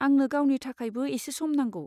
आंनो गावनि थाखायबो एसे सम नांगौ।